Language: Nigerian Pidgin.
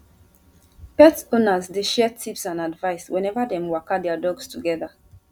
pet owners dey share tips and advice whenever dem waka their dogs together